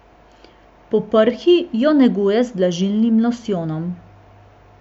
Po prhi jo negujte z vlažilnim losjonom.